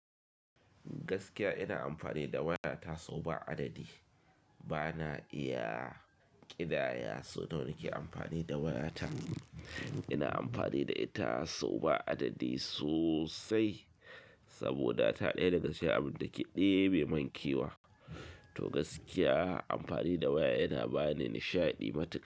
Gaskiya ina amfani da waya ta sau ba adadi. Bana iya ƙidaya sau nawa nake amfani da waya ta. Ina amfani da ita sau ba adadi sosai saboda ta ɗaya daga cikin abin da ke ɗebe mankewa. To gaskiya amfani da waya yana bani nishaɗi matuƙa.